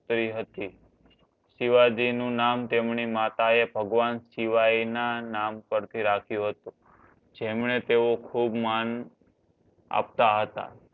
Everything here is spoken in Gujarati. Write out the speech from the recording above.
શિવાજી નું નામ તેમની માતા એ ભગવાન શિવાના નામ પર થી રખિયું હતું જેમણે તેઓ ખૂબ માન આપતા હતા